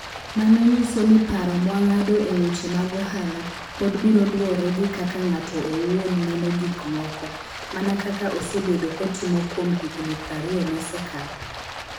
Mano nyiso ni paro mwang'ado e weche mag ohala, pod biro luwore gi kaka ng'ato owuon neno gik moko, mana kaka osebedo kotimo kuom higini 20 mosekalo.